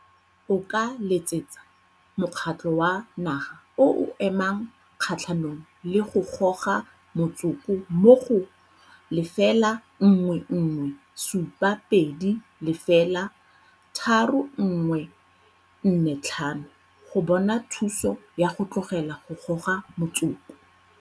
O ka letsetsa Mokgatlho wa Naga o o Emang Kgatlhanong le go Goga Motsoko mo go 011 720 3145 go bona thuso ya go tlogela go goga motsoko.